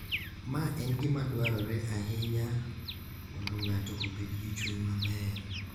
Ma en gima dwarore ahinya mondo ng’ato obed gi chuny maber.